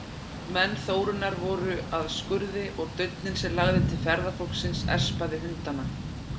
Menn Þórunnar voru að skurði og dauninn sem lagði til ferðafólksins espaði hundana.